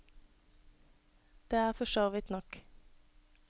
Det er for så vidt nok.